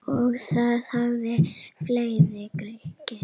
Og það hafa fleiri gert.